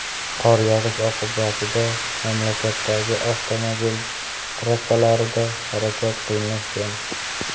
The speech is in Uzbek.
Qor yog‘ishi oqibatida mamlakatdagi avtomobil trassalarida harakat qiyinlashgan.